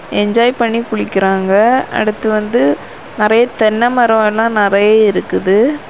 Enjoy பண்ணி குளிக்குறாங்க அடுத்து வந்து நெறைய தென்ன மரம் எல்லாம் நெறைய இருக்குது.